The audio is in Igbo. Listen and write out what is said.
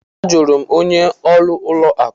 A jụrụ m onye ọrụ ụlọ akụ.